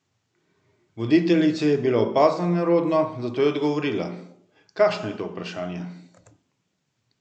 Voditeljici je bilo opazno nerodno, zato je odgovorila: "Kakšno je to vprašanje?